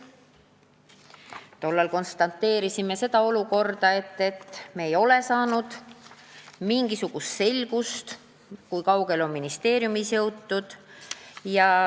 Tollal konstateerisime olukorda, et me ei ole saanud mingisugust selgust, kui kaugele on ministeeriumis jõutud.